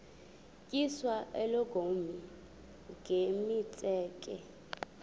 tyiswa oogolomi nemitseke